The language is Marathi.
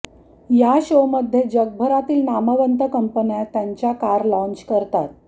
या शो मध्ये जगभरातील नामवंत कंपन्या त्यांच्या कार लाँच करतात